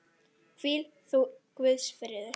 Hvíl þú í Guðs friði.